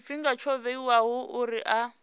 tshifhinga tsho vhewaho uri a